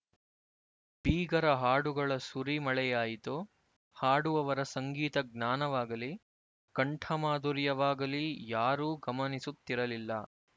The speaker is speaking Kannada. ಬೀಗರ ಹಾಡುಗಳ ಸುರಿಮಳೆಯಾಯಿತು ಹಾಡುವವರ ಸಂಗೀತ ಜ್ಞಾನವಾಗಲಿ ಕಂಠಮಾಧುರ್ಯವಾಗಲಿ ಯಾರೂ ಗಮನಿಸುತ್ತಿರಲಿಲ್ಲ